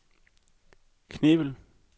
Knebel